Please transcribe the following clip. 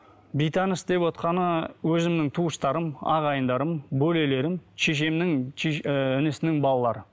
бейтаныс деп отырғаны өзімнің туыстарым ағайындарым бөлелерім шешемнің ііі інісінің балалары